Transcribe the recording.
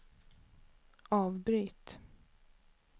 avbryt